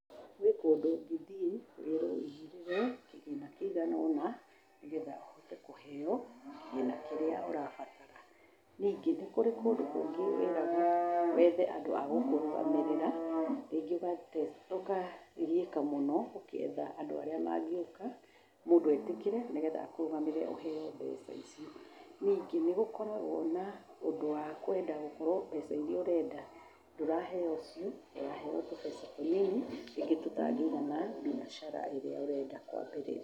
Gwĩ kũndũ ũngĩthiĩ wĩrwo ũigĩrĩre kĩgĩna kĩigana ũna nĩgetha ũhote kũheo kĩgĩna kĩrĩa ũrabatara. Ningĩ, nĩ kũrĩ kũndũ kũngĩ wĩragwo wethe andũ agũkũrũgamĩrĩra. Rĩngĩ ũkagiĩka mũno ũkĩetha andũ arĩa mangĩũka mũndũ etĩkĩre nĩgetha akũrũgamĩrĩre ũheo mbeca icio. Ningĩ nĩ gũkoragwo na ũndũ wa kwenda gũkorwo mbeca iria ũrenda ndũraheo cio, ũraheo tũbeca tũnini rĩngĩ tũtangĩigana mbiacara ĩrĩa ũrenda kũambĩrĩria.